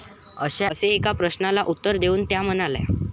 असे एका प्रश्नाला उत्तर देऊन त्या म्हणाल्या.